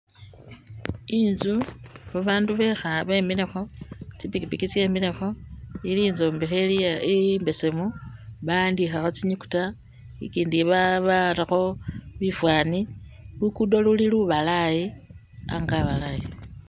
Inzu ba bandu bekha be milekho tsi pikipiki tse milekho ili inzombekhe ili imbesemu ba'andikhakho tsinyukuta i kyindi ba barakho bifani lugudo luli lubalayi ango abalayi.